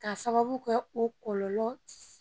K'a sababu kɛ o kɔlɔlɔ